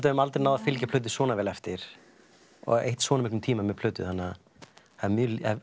höfum aldrei náð að fylgja plötu svona vel eftir og eytt svona miklum tíma með plötu þannig að það er